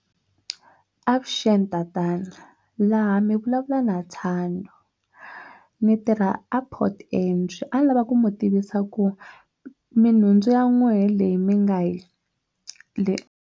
Avuxeni tatana laha mi vulavula na Thando ni tirha a port entry a ni lava ku mi tivisa ku minhundzu ya n'wehe leyi mi nga .